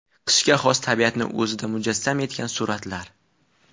Qishga xos tabiatni o‘zida mujassam etgan suratlar.